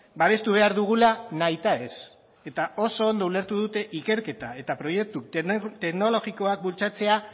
babestu behar dugula nahita ez eta oso ondo ulertu dute ikerketa eta proiektu teknologikoak bultzatzea